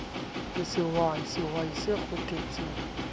ke sehwai sehwai se kgothetsa